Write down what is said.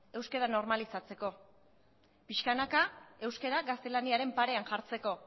euskara normalizatzeko pixkanaka euskara gaztelaniaren parean jartzeko